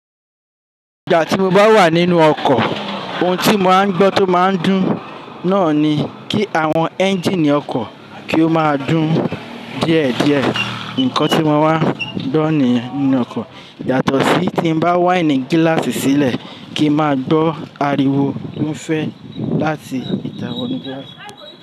Ìgbà tí mo bá wà nínú ọkọ̀ ohun tí mo máa ń gbọ́ tó máa ń dùn náà ni kí àwọn ẹ́ńjíìnì ọkọ̀ kí ó máa dùn díẹ̀díẹ̀. Nǹkan tí mo máa ń gbó niyen nínú ọkọ̀ yàtọ̀ sí tí mo bá wáìnì gíláàsì sílẹ̀ kí n máa gbọ́ ariwo ti on fẹ́ láti ìta wọ́nu gilaasi.